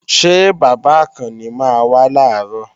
Ṣé bàbá Àkànni máa wá làárọ̀?